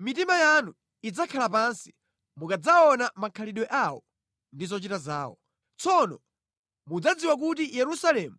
Mitima yanu idzakhala pansi mukadzaona makhalidwe awo ndi zochita zawo. Tsono mudzadziwa kuti Yerusalemu